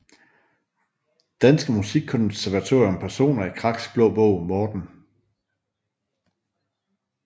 Danske Musikkonservatorium Personer i Kraks Blå Bog Morten